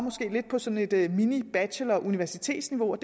lidt på sådan et et minibacheloruniversitetsniveau og